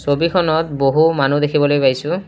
ছবিখনত বহু মানুহ দেখিবলৈ পাইছোঁ।